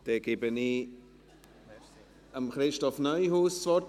Ich gebe Christoph Neuhaus das Wort.